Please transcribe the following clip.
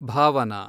Bhavana